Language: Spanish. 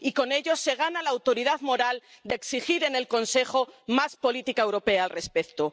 Y con ello se gana la autoridad moral de exigir en el Consejo más política europea al respecto.